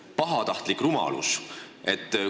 – pahatahtlik rumalus?